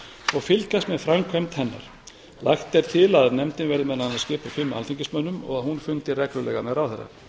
og fylgjast með framkvæmd hennar lagt er til að nefndin verði meðal annars skipuð fimm alþingismönnum og að hún fundi reglulega með ráðherra